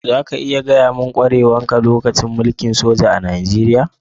Za ka iya gaya mun kwarewar ka a lokacin mulki'n soja a'Nijeriya?